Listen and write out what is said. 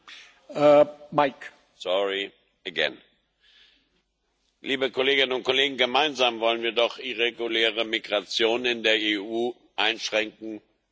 Herr Präsident, liebe Kolleginnen und Kollegen! Gemeinsam wollen wir doch irreguläre Migration in der EU einschränken, bestenfalls verhindern.